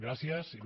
gràcies il